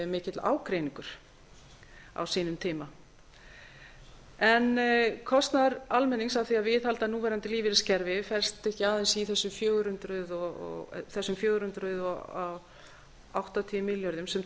mikill ágreiningur á sínum tíma kostnaður almennings af því að viðhalda núverandi lífeyriskerfi felst ekki aðeins í þessum fjögur hundruð áttatíu milljörðum sem